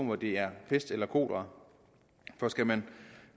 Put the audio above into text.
hvor det er pest eller kolera for skal man